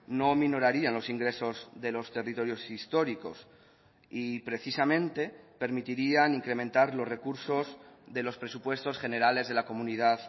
no minorarían los ingresos de los territorios históricos y precisamente permitirían incrementar los recursos de los presupuestos generales de la comunidad